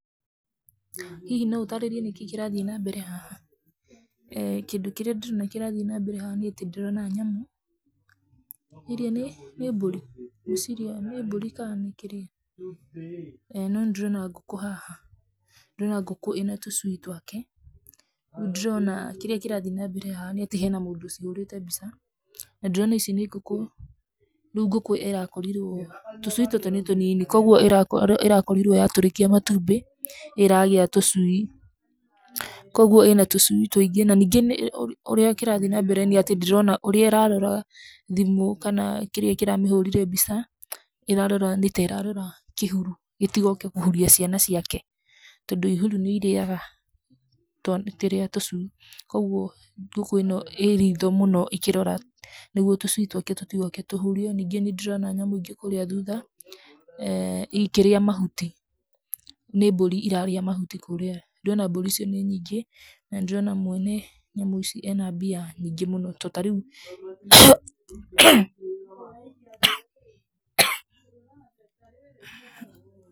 Hihi no ũtaarĩrie nĩkĩĩ kĩrathiĩ na mbere haha? eeh kĩndũ kĩrĩa ndĩrona kĩrathiĩ nambere haha nĩatĩ ndĩrona nyamũ, iria nĩ, nĩ mbũri? ngwĩciria nĩ mbũri ka nĩ kĩrĩa, no nĩndĩrona ngũkũ haha, ndĩrona ngũkũ ĩna tũcui twake, nĩndĩrona kĩrĩa kĩrathiĩ nambere haha nĩatĩ hena mũndũ ũcihũrĩte mbica, na ndĩrona ici nĩ ngũkũ, rĩu ngũkũ ĩrakorirwo, tũcui tũtũ nĩ tũnini, koguo ĩrako ĩrakorirwo yatũrĩkia matumbĩ, ĩragĩa tũcui, koguo ĩna tũcui tũingĩ naningĩ nĩ, ũrĩa kĩrathiĩ nambere nĩatĩ ndĩrona ũrĩa ĩrarora thimũ, kana kĩrĩa kĩramĩhũrire mbica, ĩrarora nĩta ĩrarora kĩhuru, gĩtigoke kũhuria ciana ciake, tondũ ihuru nĩirĩaga twa kĩrĩa tũcui, koguo ngúkũ ĩno ĩ ritho mũno íkĩrora nĩguo tũcui twake tũtigoke tũhurio, ningĩ nĩndĩrona nyamũ ingí kũrĩa thutha eeh ikĩrĩa mahuti, nĩ mbũri irarĩa mahuti kũrĩa ndĩrona mbũri icio nĩ nyingĩ na nĩndĩrona, mwene nyamũ ici ena mbia nyingĩ mũno to tarĩu.